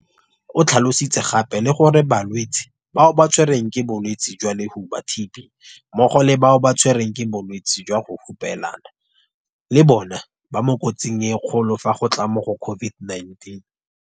O tlhalositse gape le gore balwetse bao ba tshwerweng ke bolwetse jwa lohuba, TB, mmogo le bao ba tshwerweng ke bolwetse jwa go hupelana le bona ba mo kotsing e kgolo fa go tla mo go COVID-19.